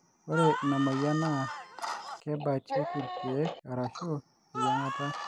ore inamoyian naa kebatieki irkiek arashu eyiangata